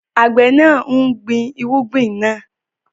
Àgbẹ̀ náà ń gbin irúgbìn náà.